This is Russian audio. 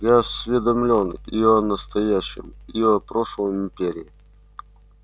я осведомлен и о настоящем и о прошлом империи